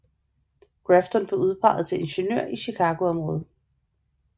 Grafton blev udpeget til ingeniør i Chicago området